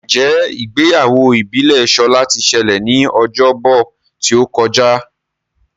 Njé Ìgbéyàwó ìbílè Shola tí ṣẹlẹ ní Ọjọ́ Bọ̀ tíó kọjá?